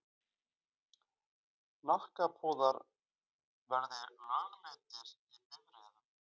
Hnakkapúðar verði lögleiddir í bifreiðum.